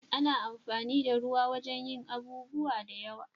Ana amfani da ruwa a wajen yin abubuwa da yawa.